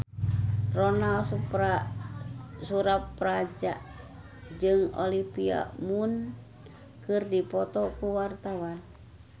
Ronal Surapradja jeung Olivia Munn keur dipoto ku wartawan